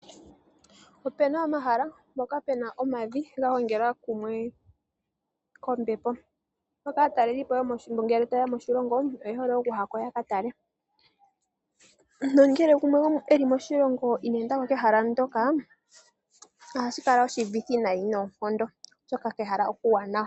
Opuna omahala, mpoka puna omavi ga gongelwa kumwe kombepo, mpoka aataleli po ngele ta yeya moshilongo oye hole oku ya ko ya ka tale nongele gumwe e li moshilongo ine enda ko kehala ndoka ohashi kala oshuuvithi nayi noonkondo, oshoka kehala okuuwanawa.